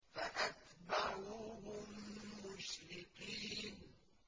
فَأَتْبَعُوهُم مُّشْرِقِينَ